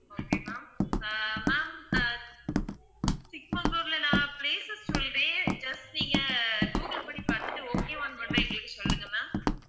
okay ma'am uh ma'am uh சிக்மங்களூர்ல நான் places சொல்றேன் just நீங்க google பண்ணி பார்த்துட்டு okay வான்னு மட்டும் எங்களுக்கு சொல்லுங்க ma'am